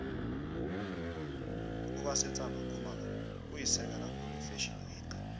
ubasetsana khumalo uyisekela khulu ifashio week